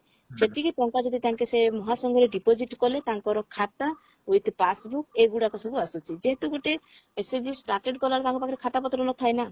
ସେତିକି ଟଙ୍କା ଯଦି ତାଙ୍କେ ସେ ମହାସଂଘ ରେ deposit କଲେ ତାଙ୍କର ଖାତା with passbook ଏଗୁଡାକ ସବୁ ଆସୁଛି ଯେହେତୁ ଗୋଟେ SHG started କଲାବେଳେ ତାଙ୍କ ପାଖରେ ଖାତା ପତ୍ର ନଥାଏ ନା